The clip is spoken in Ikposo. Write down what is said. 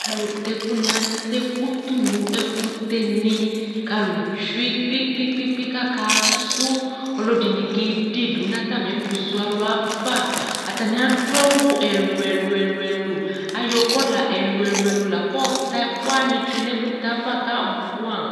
Alʋta ɛkʋnɩ ata ɛkʋ tʋ nʋ ɛkʋtɛnɩ kʋ alʋ tsue kpe-kpe-kpe kʋ akasʋ kʋ ɔlɔdɩnɩ kede dʋ nʋ atamɩ ɛkʋzɔ alʋ yɛ ava Atanɩ adʋ awʋ ɛlʋ-ɛlʋ Ayɔ kɔla ɛlʋ-ɛlʋ la kʋ ayɔ ta ɛkʋ wanɩ tsue nʋ ɛkʋtɛ yɛ ava kʋ abʋɛamʋ